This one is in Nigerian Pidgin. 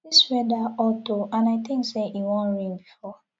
dis weather hot oo and i think say e wan rain before